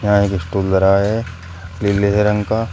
यह एक स्टूल धरा है नीले रंग का--